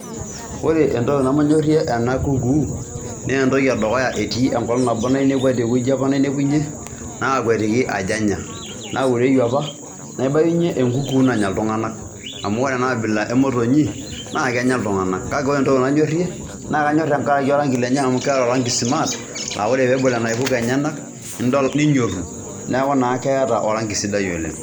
Ore entoki nemanyorie ena kukuu naa entoki e dukuya, etii enkolong' nabo nainepuoa te wueji apa nainepunye naakwetiki ajo anya naureyu apa naibayunye enkukuu nanya iltung'anak amu ore ena abila e motonyi naake enya iltung'anak. Kake ore entoki nanyorie, naake anyor tenkaraki a orang'i lenye amu keeta orang'i smart naa kore peebol inaipuko enyenak nidol ninyoru, neeku naa keeta orang'i sidai oleng'.